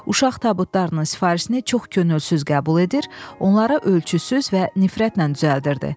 Uşaq tabutlarının sifarişini çox könülsüz qəbul edir, onları ölçüsüz və nifrətlə düzəldirdi.